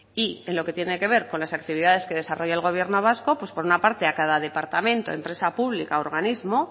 y en lo que tiene que ver con las actividades que desarrolla el gobierno vasco pues por una parte a cada departamento empresa pública u organismo